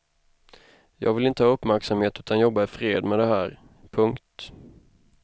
Jag vill inte ha uppmärksamhet utan jobba ifred med det här. punkt